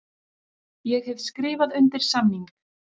Ég hef skrifað undir samning.